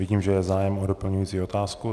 Vidím, že je zájem o doplňující otázku.